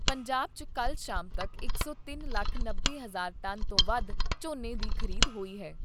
ਪੰਜਾਬ 'ਚ ਕੱਲ੍ਹ ਸ਼ਾਮ ਤੱਕ ਇਕ ਸੌ ਤਿੰਨ ਲੱਖ ਨੱਬੇ ਹਜ਼ਾਰ ਟਨ ਤੋਂ ਵੱਧ ਝੋਨੇ ਦੀ ਖ਼ਰੀਦ ਹੋਈ ਏ।